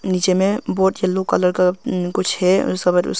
नीचे में बहोत यल्लो कलर का ऊं कुछ है --